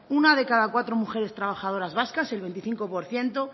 una de cada cuatro mujeres trabajadoras vascas el veinticinco por ciento